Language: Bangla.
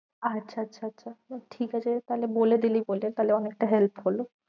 আচ্ছা আচ্ছা আচ্ছা আচ্ছা আচ্ছা ঠিক আছে তাহলে বলে দিলি বলে তাহলে অনেকটা help হলো।